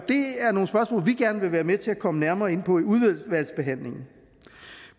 og vi gerne vil være med til at komme nærmere ind på i udvalgsbehandlingen